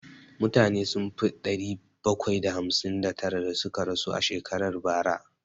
Mutane sun fi ɗari bakwai da hamsin da tara da suka rasu a shekarar bara